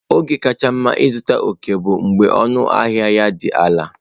Oge kacha mma ịzụta ọkẹ́ bụ mgbe ọnụahịa ya dị ala.